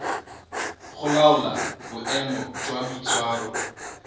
go laola boemo jwa boitshwaro